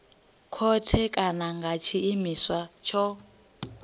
khothe kana nga tshiimiswa tsho